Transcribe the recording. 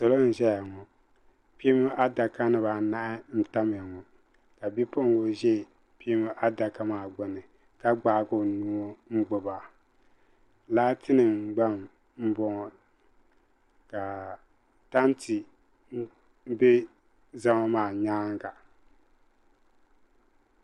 Salo n zaya ŋɔ kpiimba adaka di baa anahi ntamya ŋɔ kabi puɣingu zɛ kpiimba adaka maa gbuni ka gbahi o nuuŋɔ n ti ma li laati nima gba n bɔŋɔ ka tam ti bɛ zama maa yɛanga.